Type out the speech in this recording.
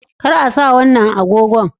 Kar a sa wannan agogon